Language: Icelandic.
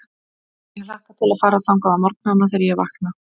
Ég hlakka til að fara þangað á morgnana, þegar ég vakna.